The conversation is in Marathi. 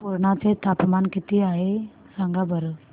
पुर्णा चे तापमान किती आहे सांगा बरं